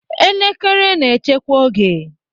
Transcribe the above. Elekere na-echekwa oge.